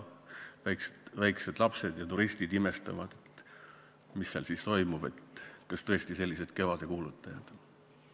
Väiksed lapsed ja turistid imestavad, et mis seal toimub, kas tõesti sellised kevadekuulutajad.